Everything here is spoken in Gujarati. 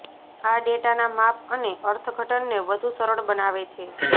આ ડેટાના માપ અને અર્થઘટનને વધુ સરળ બનાવે છે